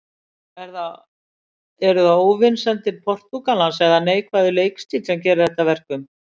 Eru það óvinsældir Portúgalans eða neikvæður leikstíll sem gerir þetta að verkum?